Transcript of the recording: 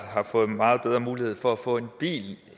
har fået meget bedre mulighed for at få en bil